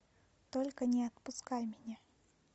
только не отпускай меня